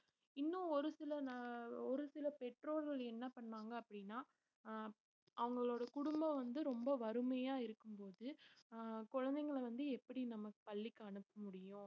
இன்னும் ஒரு சில ந~ ஒரு சில பெற்றோர்கள் என்ன பண்ணாங்க அப்படின்னா அஹ் அவங்களோட குடும்பம் வந்து, ரொம்ப வறுமையா இருக்கும்போது ஆஹ் குழந்தைங்களை வந்து எப்படி நம்ம பள்ளிக்கு அனுப்ப முடியும்